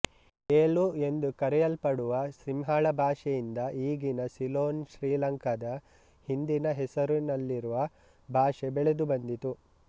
ಏಲು ಎಂದು ಕರೆಯಲ್ಪಡುವ ಸಿಂಹಳ ಭಾಷೆಯಿಂದ ಈಗಿನ ಸಿಲೋನ್ಶ್ರೀಲಂಕಾದ ಹಿಂದಿನ ಹೆಸರುನಲ್ಲಿರುವ ಭಾಷೆ ಬೆಳೆದುಬಂದಿತು